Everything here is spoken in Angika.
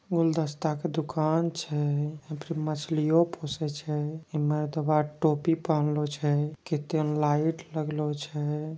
गुलदस्ता क दुकान छै। यहाँ पर मछलियों पूछे छै। इम्मा मरदबा टोपी पहेनलो छै। कित्तेन लाइट लगलो छै।